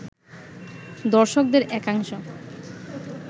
দর্শকদের একাংশ